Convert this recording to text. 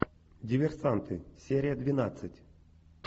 диверсанты серия двенадцать